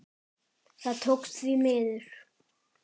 Það tókst, því miður.